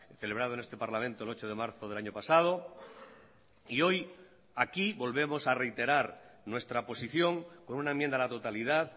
celebrado en este parlamento el ocho de marzo del año pasado y hoy aquí volvemos a reiterar nuestra posición con una enmienda a la totalidad